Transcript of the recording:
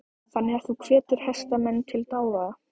Þannig að þú hvetur hestamenn til dáða?